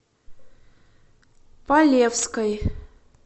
полевской